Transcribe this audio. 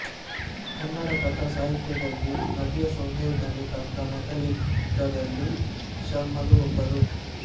ಕನ್ನಡ ಕಥಾ ಸಾಹಿತ್ಯದಲ್ಲಿ ನವ್ಯಸಂವೇದನೆ ತಂದ ಮೊದಲಿಗರಲ್ಲಿ ಶರ್ಮರು ಒಬ್ಬರು